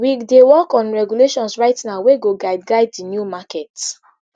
we dey work on regulations right now wey go guide guide di new market